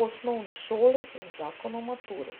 o osnovni šoli in zakon o maturi.